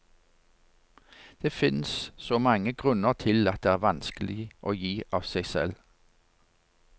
Det finnes så mange grunner til at det er vanskelig å gi av seg selv.